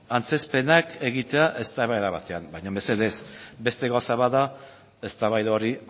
antzezpenak egitea eztabaida batean baina mesedez beste gauza bat da eztabaida hori